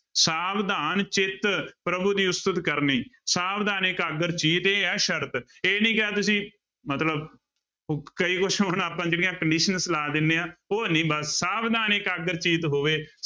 ਸਾਵਧਾਨ ਚਿੱਤ ਪ੍ਰਭੂ ਦੀ ਉਸਤਤ ਕਰਨੀ, ਸਾਵਧਾਨ ਏਕਾਗਰ ਚੀਤ, ਇਹ ਆ ਸਰਤ, ਇਹ ਨੀ ਕਿ ਅੱਜ ਅਸੀਂ ਮਤਲਬ ਕਈ ਕੁਛ ਹੁਣ ਆਪਾਂ ਜਿਹੜੀਆਂ conditions ਲਾ ਦਿੰਦੇ ਹਾਂ ਉਹ ਨੀ ਬਸ ਸਾਵਧਾਨ ਏਕਾਗਰ ਚੀਤ ਹੋਵੇ।